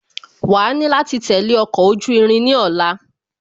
Wàá ni láti tẹ̀lé ọkọ̀ ojú irin ní ọ̀la